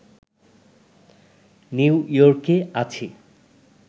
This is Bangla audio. নিউইয়র্কে আছি